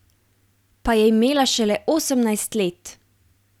Pa je imela šele osemnajst let!